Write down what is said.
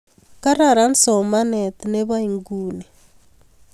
Kararan somanet nebo nguni